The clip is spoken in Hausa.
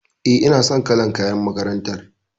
E, ina son kalar kayan makarantar.